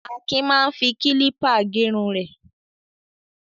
Akin máa ń fi kílípà gẹrun rẹ̀.